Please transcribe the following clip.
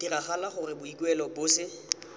diragala gore boikuelo bo se